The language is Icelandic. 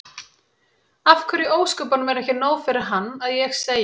Af hverju í ósköpunum er ekki nóg fyrir hann að ég segi